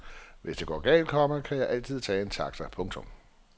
Hvis det går galt, komma kan jeg altid tage en taxa. punktum